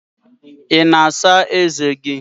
Ị na-asa ezé gị?